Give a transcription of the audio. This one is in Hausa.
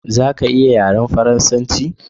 Zaka iya yaran farasance.